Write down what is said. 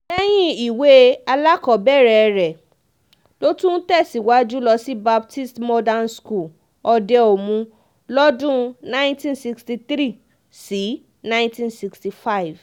lẹ́yìn ìwé alákọ̀ọ́bẹ̀rẹ̀ rẹ̀ ló tún tẹ̀síwájú lọ sí baptist modern school òde-omu lọ́dún nineteen sixty three sí nineteen sixty five